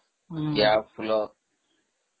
କିଆଫୁଲ